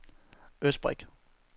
Østbirk